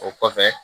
O kɔfɛ